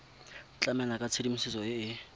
tlamela ka tshedimosetso e e